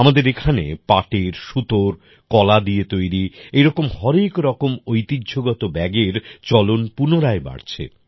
আমাদের এখানে পাটের সুতোর কলা দিয়ে তৈরী এরকম হরেক রকম ঐতিহ্যগত ব্যাগের চলন পুনরায় বাড়ছে